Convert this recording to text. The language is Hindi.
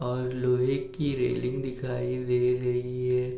और लोहे की रेलिंग दिखाई दे रही है|